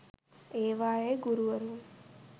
ඒවායේ ගුරුවරුන්